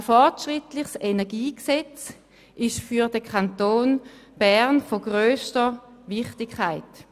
Ein fortschrittliches Energiegesetz ist für den Kanton Bern von grösster Wichtigkeit.